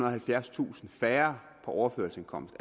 og halvfjerdstusind færre på overførselsindkomst